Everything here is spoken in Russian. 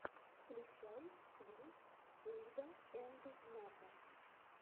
включай твинс лидаэндната